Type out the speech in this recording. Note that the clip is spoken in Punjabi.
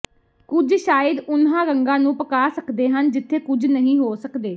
ਕੁਝ ਸ਼ਾਇਦ ਉਨ੍ਹਾਂ ਰੰਗਾਂ ਨੂੰ ਪਕਾ ਸਕਦੇ ਹਨ ਜਿੱਥੇ ਕੁਝ ਨਹੀਂ ਹੋ ਸਕਦੇ